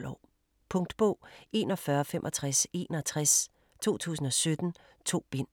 10-12 år. Punktbog 416561 2017. 2 bind.